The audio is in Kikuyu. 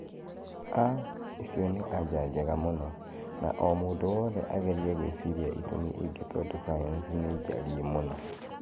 aah! icio nĩ anja njega mũno, na o mũndũ wothe agerie gwĩciria ĩtũmi ingĩ tondũ sayansi ni njariĩ mũno